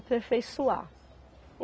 Aperfeiçoar.